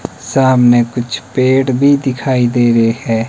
सामने कुछ पेड़ भी दिखाई दे रहे है।